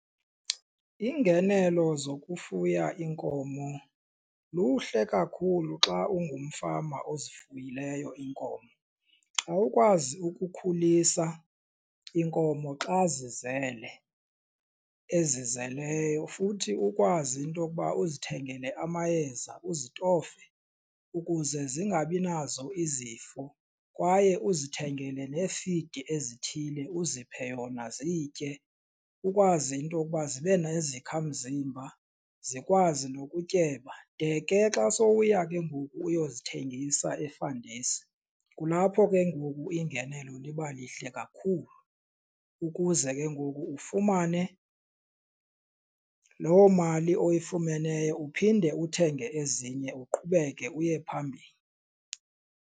Iingenelo zokufuya iinkomo luhle kakhulu xa ungumfama ozifuyileyo iinkomo. Xa ukwazi ukukhulisa iinkomo xa zizele, ezizeleyo futhi ukwazi into okuba uzithengele amayeza uzitofe ukuze zingabi nazo izifo kwaye uzithengele nee-feed ezithile uziphe yona ziyitye, ukwazi into yokuba zibe nezakhamzimba zikwazi nokutyeba. De ke xa sowuya ke ngoku uyozithengisa e-fund huis kulapho ke ngoku iingenelo liba lihle kakhulu ukuze ke ngoku ufumane loo mali oyifumeneyo uphinde uthenge ezinye uqhubeke uye phambili.